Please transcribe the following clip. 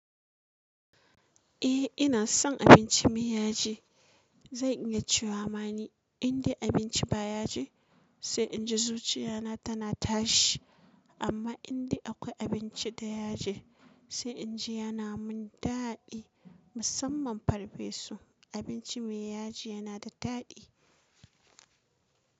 Eh ina son abinci me yaji. Zai iya cewama ni inda abinci ba yaji sai inji zuciya na tana tashi. Amma indai akwai abinci da yaji sai inji yana mun daɗi. Musamman farfesu abinci me yaji yana da daɗi.